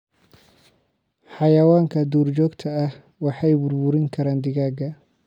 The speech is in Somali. Xayawaanka duurjoogta ah waxay burburin karaan digaagga.